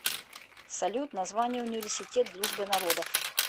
салют название университет дружбы народов